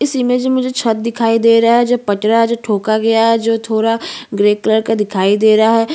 एक टा छत --